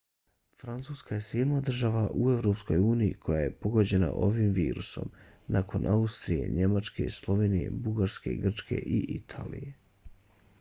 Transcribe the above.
francuska je sedma država u evropskoj uniji koja je pogođena ovim virusom nakon austrije njemačke slovenije bugarske grčke i italije